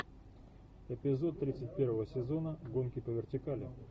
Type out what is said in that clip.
эпизод тридцать первого сезона гонки по вертикали